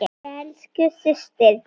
Elsku systir.